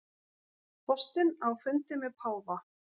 Forsetinn á fundi með páfa